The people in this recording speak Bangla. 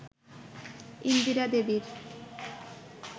ইন্দিরা দেবীর